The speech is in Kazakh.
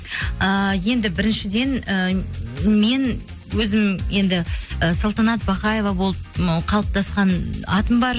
ыыы енді біріншіден і мен өзім енді і салтанат бақаева болып ы қалыптасқан атым бар